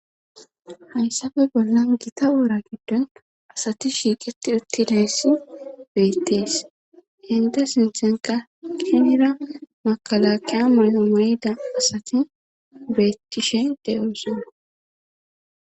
Hayssaffe bollan gita wora giddon asati shiiqetti uttidayssi beettees entta sinthenkka hinira makkalakkaya mayo mayida asati beettishe doosona.